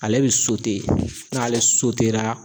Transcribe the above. Ale bi n'ale ra